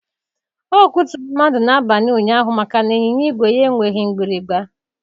Ọ kụturu mmadụ n'abalị ụnyaahụ maka na ịnyịnya igwe ya enweghị mgbịrịgba.